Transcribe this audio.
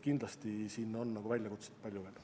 Kindlasti siin on väljakutset palju.